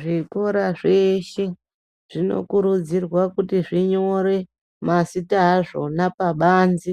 Zvikora zveshe zvinokurudzirwa kuti zvinyore mazita azvona pabanze